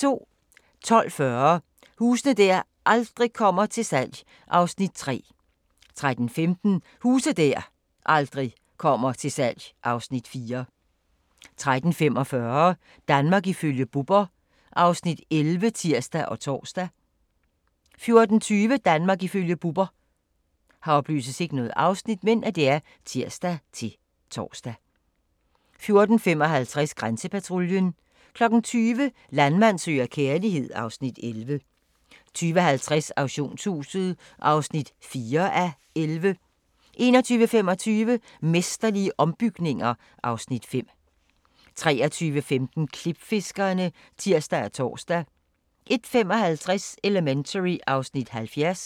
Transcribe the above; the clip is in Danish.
12:40: Huse der aldrig kommer til salg (Afs. 3) 13:15: Huse der aldrig kommer til salg (Afs. 4) 13:45: Danmark ifølge Bubber (Afs. 11)(tir og tor) 14:20: Danmark ifølge Bubber (tir-tor) 14:55: Grænsepatruljen 20:00: Landmand søger kærlighed (Afs. 11) 20:50: Auktionshuset (4:11) 21:25: Mesterlige ombygninger (Afs. 5) 23:15: Klipfiskerne (tir og tor) 01:55: Elementary (Afs. 70)